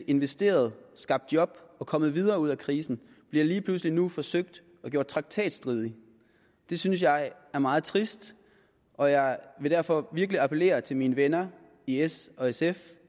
investeret skabt job og kommet videre og ud af krisen bliver lige pludselig nu forsøgt gjort traktatstridige det synes jeg er meget trist og jeg vil derfor virkelig appellere til at mine venner i s og sf